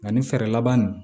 Ani fɛɛrɛ laban nin